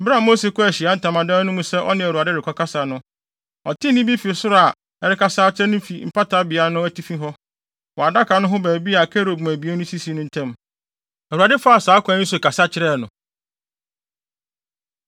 Bere a Mose kɔɔ Ahyiae Ntamadan no mu sɛ ɔne Awurade rekɔkasa no, ɔtee nne bi fi soro a ɛrekasa kyerɛ no fi Mpata Beae no atifi hɔ, wɔ adaka no ho baabi a kerubim abien no sisi no ntam. Awurade faa saa kwan yi so kasa kyerɛɛ no.